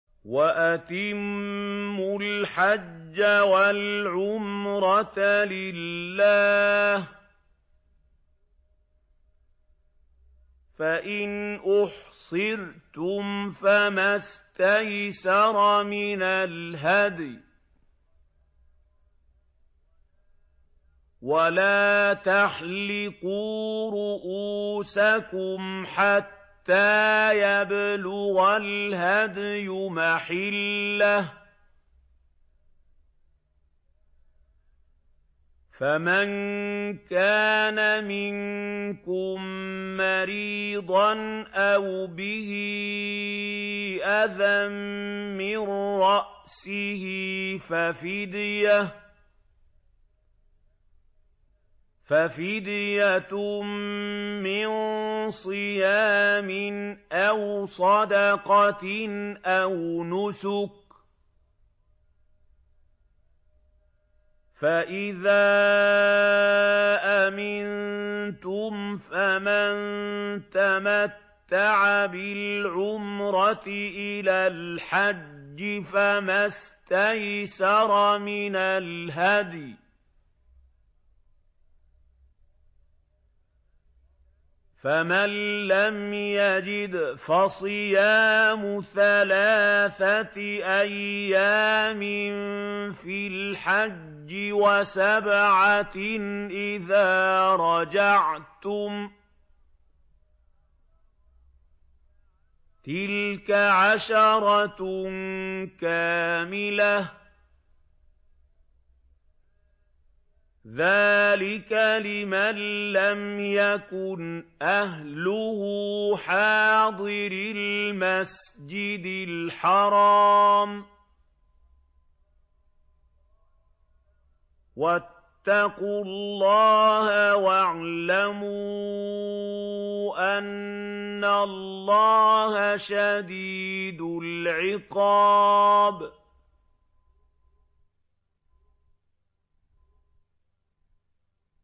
وَأَتِمُّوا الْحَجَّ وَالْعُمْرَةَ لِلَّهِ ۚ فَإِنْ أُحْصِرْتُمْ فَمَا اسْتَيْسَرَ مِنَ الْهَدْيِ ۖ وَلَا تَحْلِقُوا رُءُوسَكُمْ حَتَّىٰ يَبْلُغَ الْهَدْيُ مَحِلَّهُ ۚ فَمَن كَانَ مِنكُم مَّرِيضًا أَوْ بِهِ أَذًى مِّن رَّأْسِهِ فَفِدْيَةٌ مِّن صِيَامٍ أَوْ صَدَقَةٍ أَوْ نُسُكٍ ۚ فَإِذَا أَمِنتُمْ فَمَن تَمَتَّعَ بِالْعُمْرَةِ إِلَى الْحَجِّ فَمَا اسْتَيْسَرَ مِنَ الْهَدْيِ ۚ فَمَن لَّمْ يَجِدْ فَصِيَامُ ثَلَاثَةِ أَيَّامٍ فِي الْحَجِّ وَسَبْعَةٍ إِذَا رَجَعْتُمْ ۗ تِلْكَ عَشَرَةٌ كَامِلَةٌ ۗ ذَٰلِكَ لِمَن لَّمْ يَكُنْ أَهْلُهُ حَاضِرِي الْمَسْجِدِ الْحَرَامِ ۚ وَاتَّقُوا اللَّهَ وَاعْلَمُوا أَنَّ اللَّهَ شَدِيدُ الْعِقَابِ